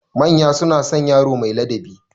Manya suna son yaro mai ladabi.